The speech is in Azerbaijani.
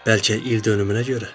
Bəlkə ildönümünə görə?